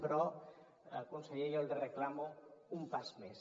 però conseller jo li reclamo un pas més